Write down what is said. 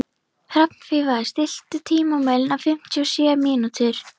Hrafnfífa, stilltu tímamælinn á fimmtíu og sjö mínútur.